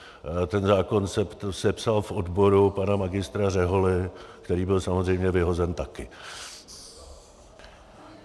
Ten zákon se psal v odboru pana magistra Řeholy, který byl samozřejmě vyhozen také.